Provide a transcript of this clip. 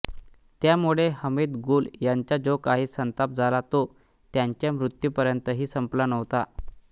त्यामुळे हमीद गुल यांचा जो काही संताप झाला तो त्यांच्या मृत्यूपर्यंतही संपला नव्हता